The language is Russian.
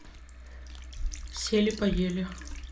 сели поели